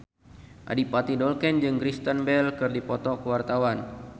Adipati Dolken jeung Kristen Bell keur dipoto ku wartawan